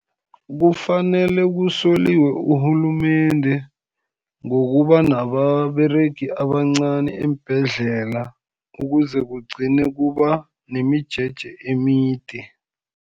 Kufanele kusoliwe urhulumende, ngokuba nababeregi abancani eembhedlela, ukuze kugcine kuba nemijeje emide.